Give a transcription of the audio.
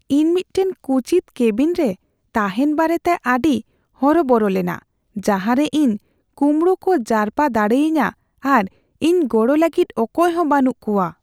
ᱤᱧ ᱢᱤᱫᱴᱟᱝ ᱠᱩᱪᱤᱛ ᱠᱮᱵᱤᱱᱨᱮ ᱛᱟᱦᱮᱱ ᱵᱟᱨᱮᱛᱮ ᱟᱹᱰᱤ ᱦᱚᱨᱚᱵᱚᱨᱚ ᱞᱮᱱᱟ ᱡᱟᱦᱟᱸᱨᱮ ᱤᱧ ᱠᱩᱢᱵᱲᱩ ᱠᱚ ᱡᱟᱨᱯᱟ ᱫᱟᱲᱮᱭᱟᱹᱧᱟᱹ ᱟᱨ ᱤᱧ ᱜᱚᱲᱚ ᱞᱟᱹᱜᱤᱫ ᱚᱠᱚᱭᱦᱚᱸ ᱵᱟᱹᱱᱩᱜ ᱠᱚᱣᱟ ᱾